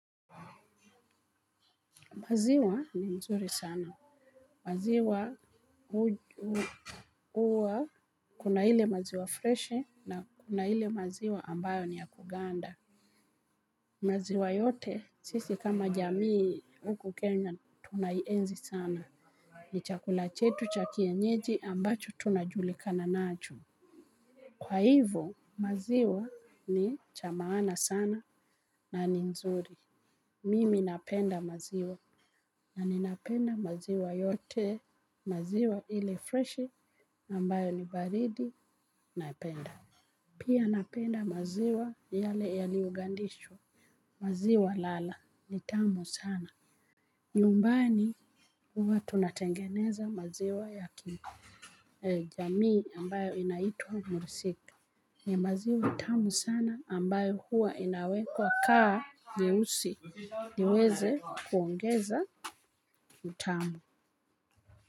Maziwa ni nzuri sana. Maziwa huwa kuna ile maziwa freshi na kuna ile maziwa ambayo ni ya kuganda. Maziwa yote sisi kama jamii huku Kenya tunaienzi sana. Ni chakula chetu cha kienyeji ambacho tunajulikana nacho. Kwa hivo maziwa ni cha maana sana na ni nzuri. Mimi napenda maziwa. Na ninapenda maziwa yote, maziwa ile freshi, ambayo ni baridi, naipenda. Pia napenda maziwa yale yaliyogandishwa. Maziwa lala, ni tamu sana. Nyumbani huwa tunatengeneza maziwa ya kini. Jamii ambayo inaitwa mursik. Ni maziwa tamu sana ambayo huwa inawekwa kaa nyeusi. Niweze kuongeza ni tamu.